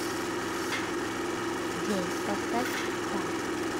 джой поставь стар